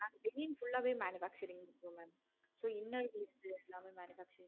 நாங்க full ஆஹ் manufacturing தான் mam so இன்னா எங்களுக்கு எல்லாமே manufacturing தான் mam